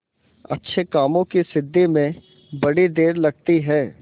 अच्छे कामों की सिद्धि में बड़ी देर लगती है